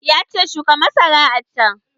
Ya ce 'Shuka masara a can'!